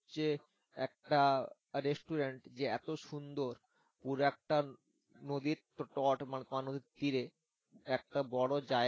যে একটা restaurant যে এত সুন্দর পুরা একটা নদীর ট~ মানে তোমার নদীর তীরে একটা বড় জায়গা